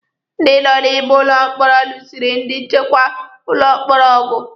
Ndị nọ n'ime ụlọ mkpọrọ lụsịrị ndi nchekwa ụlọ mkpọrọ ọgụ